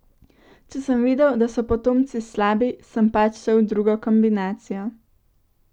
Če sem videl, da so potomci slabi, sem pač šel v drugo kombinacijo.